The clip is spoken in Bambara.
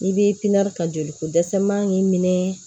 I bɛ ka joli ko dɛsɛ man k'i minɛ